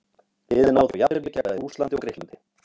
Liðið náði þó jafntefli gegn bæði Rússlandi og Grikklandi.